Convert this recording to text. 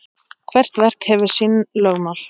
Hvert verk hefur sín lögmál.